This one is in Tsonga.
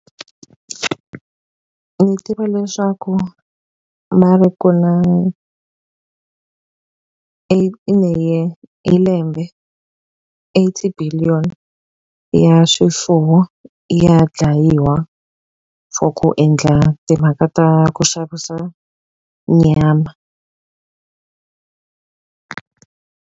Ni tiva leswaku va ri ku na in a year hi lembe eighty billion ya swifuwo ya dlayiwa for ku endla timhaka ta ku xavisa nyama.